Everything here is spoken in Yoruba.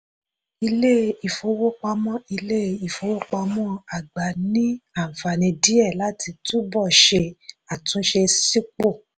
ilé-ìfowópamọ́ ilé-ìfowópamọ́ àgbà ní ànfààní díẹ̀ láti túbò̀ ṣe àtúnṣe sípò.